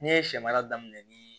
Ne ye sɛ mara daminɛ ni